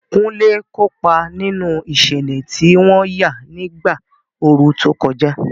Kunle kópa nínú ìṣẹ̀lẹ̀ tí wọ́n yà nígbà ooru tó kọjá.